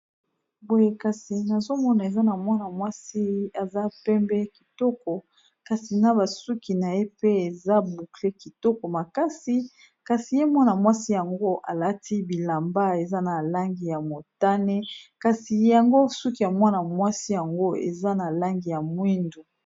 boye kasi nazomona eza na mwana mwasi eza pembe kitoko kasi na basuki na ye pe eza bukle kitoko makasi kasi ye mwana-mwasi yango alati bilamba eza na langi ya motane kasi yango suki ya mwana-mwasi yango eza na langi ya mwindu